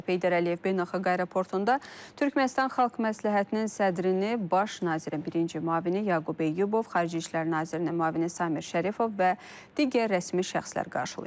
Heydər Əliyev Beynəlxalq Aeroportunda Türkmənistan Xalq Məsləhətinin sədrini Baş Nazirin birinci müavini Yaqub Eyyubov, Xarici İşlər Nazirinin müavini Samir Şərifov və digər rəsmi şəxslər qarşılayıblar.